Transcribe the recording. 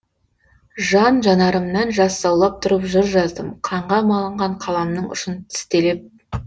жан жанарымнан жас саулап тұрып жыр жаздым қанға малынған қаламның ұшын тістелеп